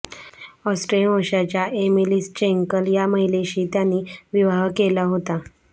Austrian वंशांच्या Emilie Schenkl या महिलेशी त्यांनी विवाह केला होता